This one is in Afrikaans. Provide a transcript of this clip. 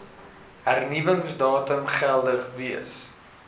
hernuwingsdatum geldig wees